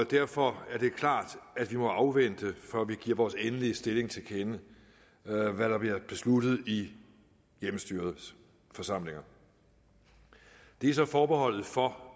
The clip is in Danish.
derfor er det klart at vi må afvente før vi giver vores endelige stilling til kende hvad der vil være besluttet i hjemmestyrets forsamlinger det er så forbeholdet for